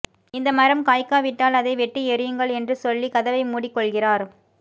இந்த மரம் காய்க்காவிட்டால் அதை வெட்டி எறியுங்கள் என்று சொல்லி கதவை மூடிக் கொள்கிறார்